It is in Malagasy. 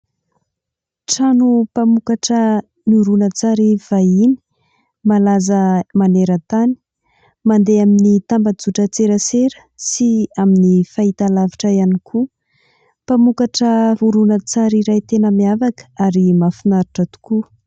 Trano mpamokatra horonantsary vahiny malaza maneran-tany ; mandeha amin'ny tambazotra an-tserasera sy amin'ny fahitalavitra ihany koa. Mpamokatra horonantsary iray tena miavaka ary mahafinaritra tokoa.